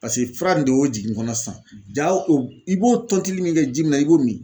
Paseke fura nin de y'o jigin kɔnɔ sisan ja i b'o tɔntilii min kɛ ji min na i b'o min